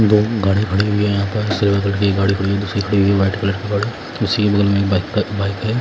दो गाड़ियां खड़ी हुई है यहां पर कलर की गाड़ी खड़ी हुई है दूसरी खड़ी व्हाइट कलर की गाड़ी उसी के बगल में बाइक है।